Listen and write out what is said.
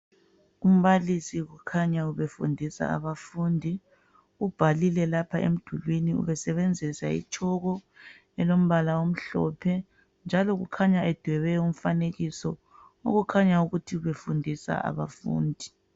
Umbalisi kukhanya ubefundisa abafundi. Ubhalile lapha emdulwini ubesebenzisa itshoko elombala omhlophe, njalo kukhanye edwebe umfanekiso okukhanya ukuthi ubefundisa abafundi.